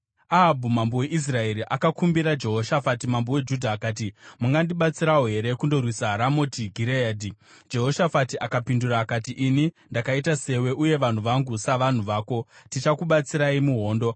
Ahabhu mambo weIsraeri akakumbira Jehoshafati mambo weJudha, akati, “Mungandibatsirawo here kundorwisa Ramoti Gireadhi?” Jehoshafati akapindura akati, “Ini ndakaita sewe uye vanhu vangu savanhu vako; tichakubatsirai muhondo.”